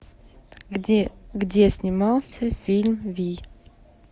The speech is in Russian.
где снимался фильм вий